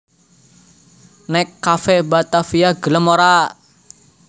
Nek Cafe Batavia gelem ora?